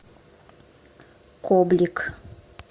коблик